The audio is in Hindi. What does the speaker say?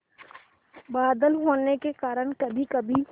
बादल होने के कारण कभीकभी